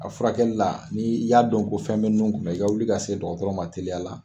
A furakɛli la, n'i y'a dɔn ko fɛn bɛ ninnu kɔnɔ, i ka wuli ka se dɔgɔtɔrɔ ma teliya la.